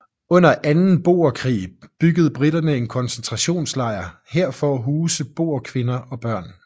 Under anden boerkrig byggede briterne en koncentrationslejr her for at huse boerkvinder og børn